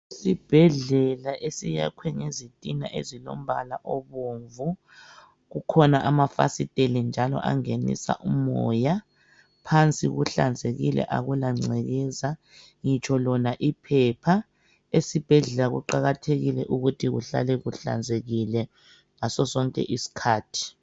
Isibhedlela esiyakwe ngezitina ezilombala obomvu kukhona amafasiteli njalo angenisa umoya phansi kuhlanzekile akula ncekeza ngitsho lona iphepha esibhedlela kuqakathekile ukuthi kuhlale kuhlanzekile ngaso sonke iskhathi.